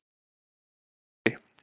Búri